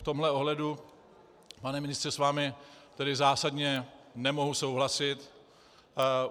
V tomto ohledu, pane ministře, s vámi tedy zásadně nemohu souhlasit.